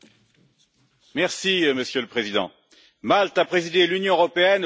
Monsieur le Président, Malte a présidé l'Union européenne au cours des six derniers mois.